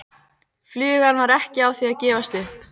Flugan var ekki á því að gefast upp.